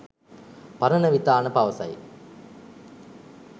පරණවිතාන පවසයි.